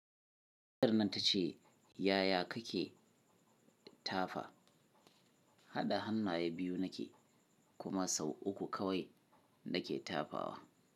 Tace yaya kake tafa,? Haɗa hannaye biyu nake, kuma sau uku kawai na ke tafawa.